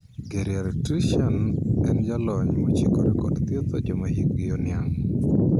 Geriatrician' en jalony mochikore kod thietho joma hikgi oniang'.